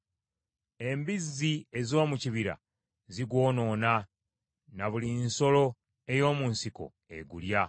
Embizzi ez’omu kibira zigwonoona, na buli nsolo ey’omu nsiko egulya.